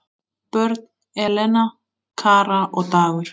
Börn: Elena, Kara og Dagur.